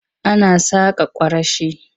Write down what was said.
Ana saƙa kwarashi.